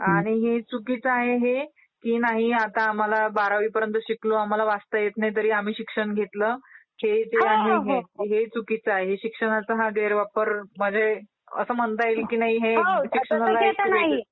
आणि हे चुकीचं आहे हे कि नाही आता आम्हाला आम्ही बारावी पर्यंत शिकलो आम्हाला वाचता येत नाही तरी आम्ही शिक्षण घेतलं हे जे आहे ते चुकीचं आहे. हे शिक्षणाच्या हा गैरवापर म्हणजे असं म्हणता येईल कि नाही हे शिक्षणाला कुठंतरी